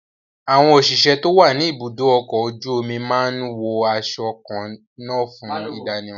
Àwọn òṣìṣẹ́ tó wà ní ibùdó ọkọ̀ ojú omi máa ń wo aṣọ kan náà fún ìdánimọ̀